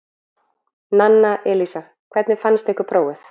Nanna Elísa: Hvernig fannst ykkur prófið?